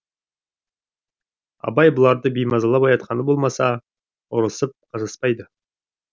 абай бұларды беймазалап оятқаны болмаса ұрысып қажаспайды